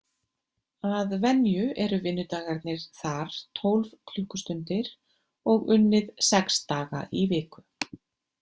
Að venju eru vinnudagarnir þar tólf klukkustundir og unnið sex daga í viku.